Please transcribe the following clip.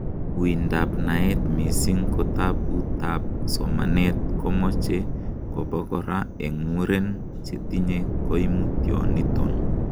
Uindab naet, missing kotabutab somanet, komoche kobo kora en muren chetinye koimutioniton.